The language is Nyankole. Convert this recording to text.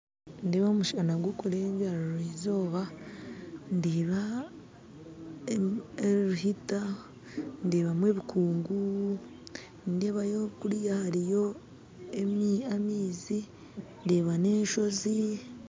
Nindeeba omushana gukurengerera eizooba, ndebamu ebikungu ndebayo kurya hariyo amaizi ndeeba n'enshozi.